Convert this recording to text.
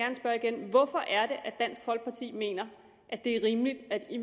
dansk folkeparti mener at det er rimeligt at vi i